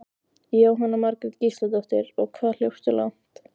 Jóhanna Margrét Gísladóttir: Og hvað hljópstu langt?